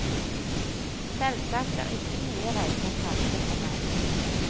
Selvsagt er ikke nye reiser fremmede for meg.